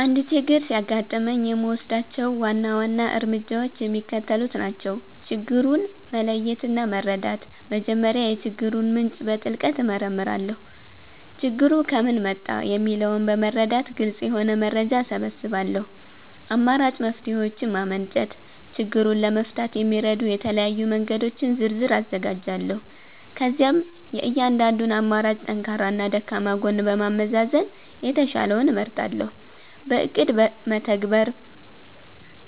አንድ ችግር ሲያጋጥመኝ የምወስዳቸው ዋና ዋና እርምጃዎች የሚከተሉት ናቸው፦ ችግሩን መለየትና መረዳት፦ መጀመሪያ የችግሩን ምንጭ በጥልቀት እመረምራለሁ። ችግሩ ከምን መጣ? የሚለውን በመረዳት ግልጽ የሆነ መረጃ እሰበስባለሁ። አማራጭ መፍትሔዎችን ማመንጨት፦ ችግሩን ለመፍታት የሚረዱ የተለያዩ መንገዶችን ዝርዝር አዘጋጃለሁ። ከዚያም የእያንዳንዱን አማራጭ ጠንካራና ደካማ ጎን በማመዛዘን የተሻለውን እመርጣለሁ። በእቅድ መተግበር፦